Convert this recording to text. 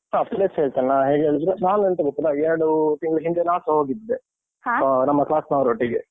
ಹ. place ಹೇಳ್ತೇನೆ. ನಾ ಹೇಗ್ ಹೇಳಿದ್ರೆ ನಾನೆಂತ ಗೊತ್ತುಂಟ ಎರಡು ತಿಂಗ್ಳ ಹಿಂದೆ ನಾನ್ಸ ಹೋಗಿದ್ದೆ. class ನವರೊಟ್ಟಿಗೆ.